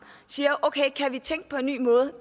og siger at okay kan vi tænke på en ny måde